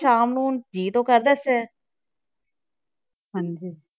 ਸ਼ਾਮ ਨੂੰ ਜੀਅ ਤਾਂ ਕਰਦਾ ਹੈ ਹਾਂਜੀ